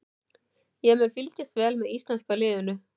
Ég mun fylgjast vel með íslenska liðinu.